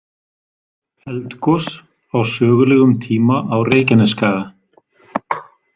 Eldgos á sögulegum tíma á Reykjanesskaga.